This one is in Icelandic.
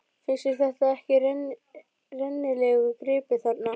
Finnst þér þetta ekki rennilegur gripur þarna?